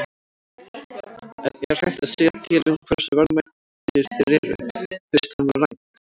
En er hægt að segja til um hversu verðmætir þeir eru, fyrst þeim var rænt?